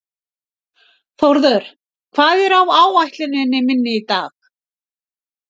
Þórður, hvað er á áætluninni minni í dag?